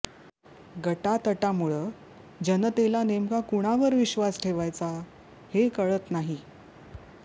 गटातटामुळं जनतेला नेमका कुणावर विश्वास ठेवायचा हे कळत नाही